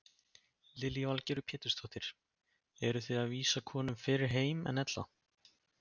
Lillý Valgerður Pétursdóttir: Eruð þið að vísa konum fyrr heim en ella?